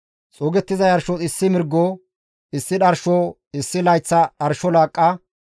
xuugettiza yarshos issi mirgo, issi dharsho, issi layththa dharsho laaqqa,